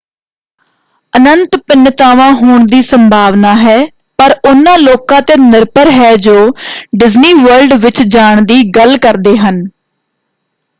ਅਨੰਤ ਭਿੰਨਤਾਵਾਂ ਹੋਣ ਦੀ ਸੰਭਾਵਨਾ ਹੈ ਪਰ ਉਹਨਾਂ ਲੋਕਾਂ 'ਤੇ ਨਿਰਭਰ ਹੈ ਜੋ ਡਿਜ਼ਨੀ ਵਰਲਡ ਵਿੱਚ ਜਾਣ ਦੀ ਗੱਲ ਕਰਦੇ ਹਨ।